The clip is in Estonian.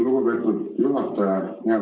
Lugupeetud juhataja!